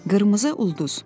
Qırmızı ulduz.